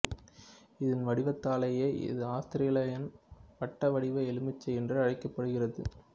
இதன் வடிவத்தாலேயே இது ஆஸ்திரேலியன் வட்டவடிவ எலுமிச்சை என்று அழைக்கப்படுகிறது